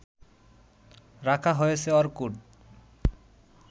রাখা হয়েছে অর্কুট